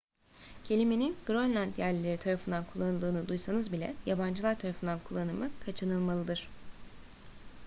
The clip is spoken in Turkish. kelimenin grönland yerlileri tarafından kullanıldığını duysanız bile yabancılar tarafından kullanımı kaçınılmalıdır